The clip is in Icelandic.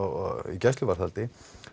gæsluvarðhaldi